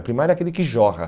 O primário é aquele que jorra.